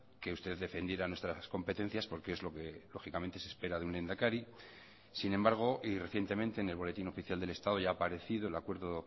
que usted defendiera nuestras competencias porque es lo que lógicamente se espera de un lehendakari sin embargo y recientemente en el boletín oficial del estado ya ha aparecido el acuerdo